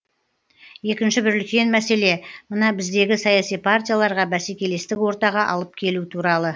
екінші бір үлкен мәселе мына біздегі саяси партияларға бәсекелестік ортаға алып келу туралы